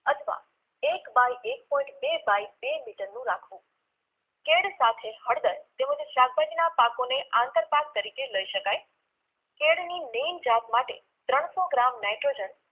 અથવા એક by એક point બે by બે મિટરનું રાખવુ કેળ સાથે હળદર તેમજ શાકભાજીના પાકોને આંતરપાક તરીકે લઈ શકાય કેળની main જાત માટે ત્રણસો ગ્રામ નાઈટ્રોજન